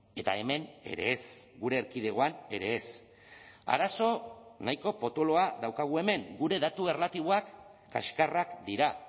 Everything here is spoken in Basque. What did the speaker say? eta hemen ere ez gure erkidegoan ere ez arazo nahiko potoloa daukagu hemen gure datu erlatiboak kaxkarrak dira